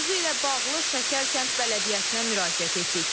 Mövzu ilə bağlı Şəkər kənd bələdiyyəsinə müraciət etdik.